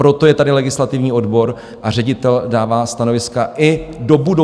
Proto je tady legislativní odbor a ředitel dává stanoviska i do budoucna.